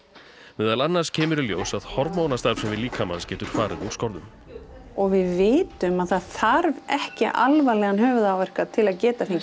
meðal annars kemur í ljós að hormónastarfsemi líkamans getur farið úr skorðum og við vitum að það þarf ekki alvarlegan höfuðáverka til að geta fengið